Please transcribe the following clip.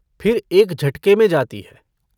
फिर एक झटके में जाती है।